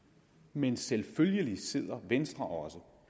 men selvfølgelig sidder venstre også